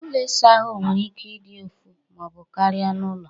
Ụlọ ịsa ahụ nwere ike ị dị ofu maọbụ karịa n'ụlọ